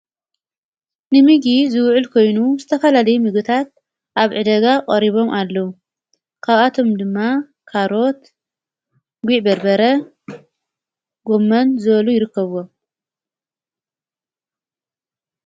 ንሚጊ ዝውዕል ኮይኑ ዝተኻላለይ ምግታት ኣብ ዕደጋ ኦሪቦም ኣለዉ ካብኣቶም ድማ ካሮት ጌዕ በርበረ ጎመን ዘበሉ ይርከብ።